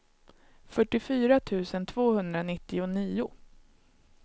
fyrtiofyra tusen tvåhundranittionio